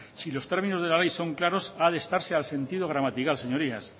si los términos de la ley son claros ha de estarse al sentido gramatical señorías